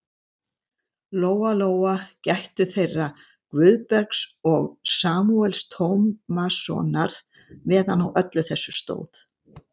Lóa-Lóa gættu þeirra Guðbergs og Samúels Tómassonar meðan á öllu þessu stóð.